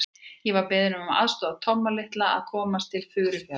Ég var beðinn að aðstoða Tomma litla að komast til Furufjarðar.